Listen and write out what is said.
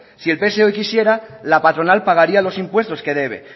si el pse hoy quisiera la patronal pagaría los impuestos que debe